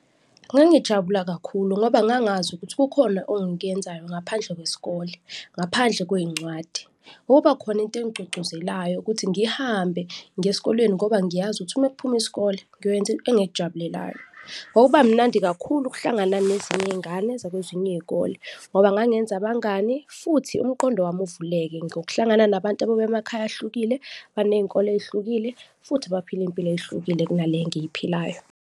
Ngangijabula kakhulu ngoba ngangazi ukuthi kukhona ongikyenzayo ngaphandle kwesikole, ngaphandle kwezincwadi. Kwakubakhona into engigqugquzelayo ukuthi ngihambe ngiye esikoleni ngoba ngiyazi ukuthi uma kuphuma isikole ngiyoyenza engikujabulelayo. Kwakuba mnandi kakhulu ukuhlangana nezinye izingane zakwezinye izikole ngoba ngangenza abangani futhi umqondo wami uvuleke ngokuhlangana nabantu ababuya emakhaya ahlukile, banezinkolo ezihlukile futhi baphila izimpilo ezihlukile kuna le engiyiphilayo.